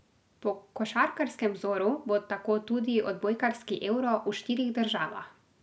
Po košarkarskem vzoru bo tako tudi odbojkarski euro v štirih državah.